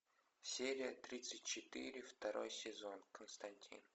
серия тридцать четыре второй сезон константин